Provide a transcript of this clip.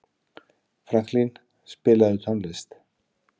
Franklín, spilaðu tónlist.